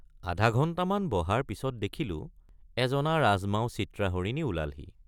আধাঘণ্টামান বহাৰ পিচত দেখিলোঁ এজনা ৰাজমাও চিত্ৰা হৰিণী ওলালহি।